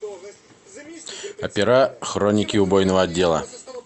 опера хроники убойного отдела